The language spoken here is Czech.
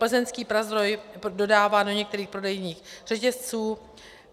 Plzeňský Prazdroj dodává do některých prodejních řetězců.